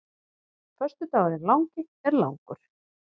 Föstudagurinn langi er langur.